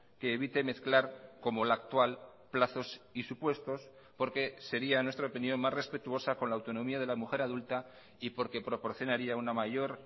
que evite mezclar como la actual plazos y supuestos porque sería en nuestra opinión más respetuosa con la autonomía de la mujer adulta y porque proporcionaría una mayor